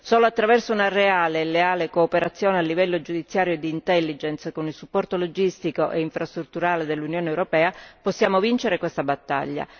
Solo attraverso una reale e leale cooperazione a livello giudiziario e d'intelligence, con il supporto logistico e infrastrutturale dell'Unione europea, possiamo vincere questa battaglia.